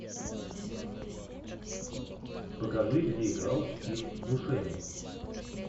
покажи где играл стив бушеми